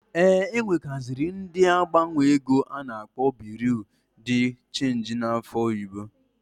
E nwekaziri ndi na agbanwo ego a na-akpọ Biru di chenji n'afa oyibo.